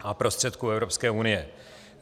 a prostředků Evropské unie.